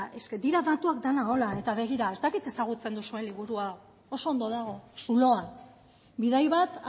badira datuak denak horrela ez dakit ezagutzen duzuen liburua oso ondo dago zuloan bidai bat